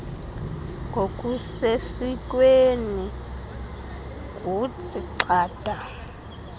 ngokusesikweni ngutsii gxada